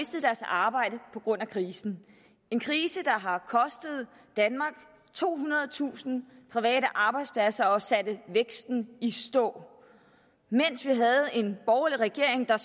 deres arbejde på grund af krisen en krise der har kostet danmark tohundredetusind private arbejdspladser og sat væksten i stå mens vi havde en borgerlig regering der